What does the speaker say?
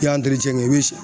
I y'an i bɛ si